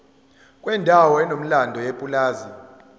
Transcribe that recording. kwendawo enomlando yepulazi